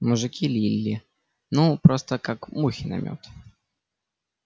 мужики лилли ну просто как мухи на мёд